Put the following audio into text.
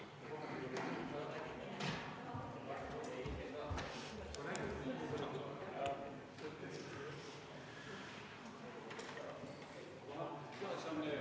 Istungi lõpp kell 17.01.